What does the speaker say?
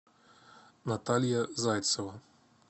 наталья зайцева